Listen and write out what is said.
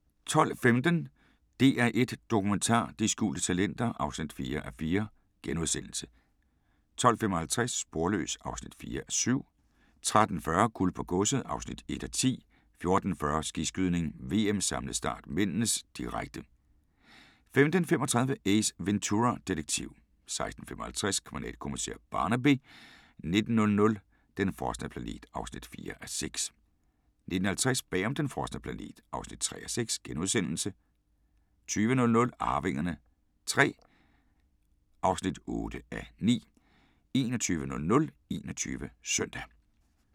12:15: DR1 Dokumentar: De skjulte talenter (4:4)* 12:55: Sporløs (4:7) 13:40: Guld på godset (1:10) 14:40: Skiskydning: VM - samlet start (m), direkte 15:35: Ace Ventura, detektiv 16:55: Kriminalkommissær Barnaby 19:00: Den frosne planet (4:6) 19:50: Bag om den frosne planet (3:6)* 20:00: Arvingerne III (8:9) 21:00: 21 Søndag